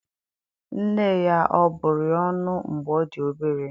Nne ya ọ bụrụ ya ọnụ mgbe ọ dị obere?